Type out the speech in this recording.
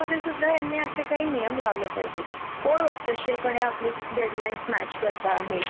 मग आपण आयत्या वेळेला कोणाला उभ करणार म्हणून त्या बायकांना त्या प्रोजेक्ट मध्ये सुद्धा इनक्युलड करत नाही